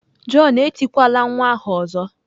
John etikwala nwa ahụ ọzọ!